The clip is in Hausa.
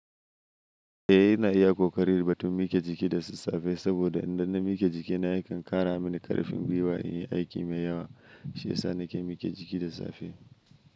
Eh, ina iya ƙoƙari ba tun miƙe jiki da sassafe, saboda idan na miƙe jikina yakan ƙara mini ƙarfin gwiwa in yi aiki mai yawa. Shi ya sa na ke miƙe jiki da safe.